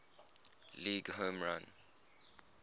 league home run